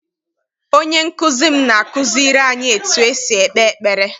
Onye nkụzi m na-akụziri anyị etu esi ekpe ekpere.